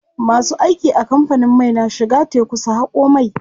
Masu aiki a kamfanin mai na shiga teku su haƙo mai.